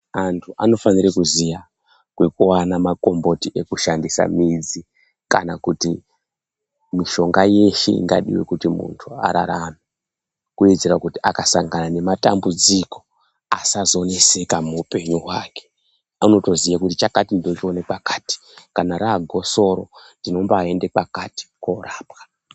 Antu anofanira kuziya kwekuwana makomboti ekushandisa midzi kana kuti mishonga yeshe ingadiwa kuti muntu ararame, kuitira kuti akasangana nematambudziko asazoneseka muupenyu hwake unotoziya kuti chakati ndochiona pakati kana raagosorwa ndombayienda pakati kunorapwa.